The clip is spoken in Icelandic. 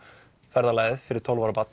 ferðalagið fyrir tólf ára barn